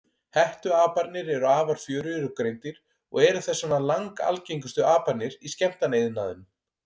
Hettuaparnir eru afar fjörugir og greindir og eru þess vegna langalgengustu aparnir í skemmtanaiðnaðinum.